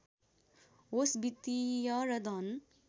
होस् वित्‍तीय र धन